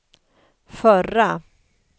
förra